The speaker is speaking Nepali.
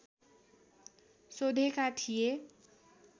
सोधेका थिए